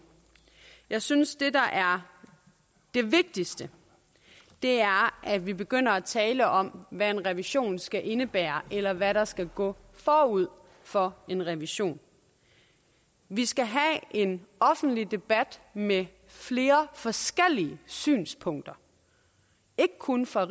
jeg synes at det der er det vigtigste er at vi begynder at tale om hvad en revision skal indebære eller hvad der skal gå forud for en revision vi skal have en offentlig debat med flere forskellige synspunkter ikke kun fra